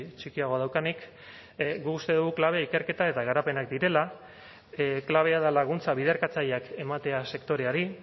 txikiagoa daukanik guk uste dugu klabe ikerketak eta garapenak direla klabea da laguntza biderkatzaileak ematea sektoreari